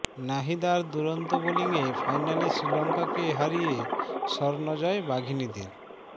নাহিদার দুরন্ত বোলিংয়ে ফাইনালে শ্রীলংকাকে হারিয়ে স্বর্ণ জয় বাঘিনীদের